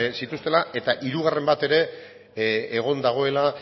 zituztela eta hirugarren bat ere egon dagoela